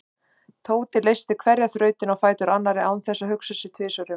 Tóti leysti hverja þrautina á fætur annarri án þess að hugsa sig um tvisvar.